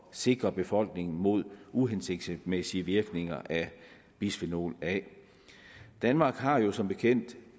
sikre befolkningen mod uhensigtsmæssige virkninger af bisfenol a danmark har jo som bekendt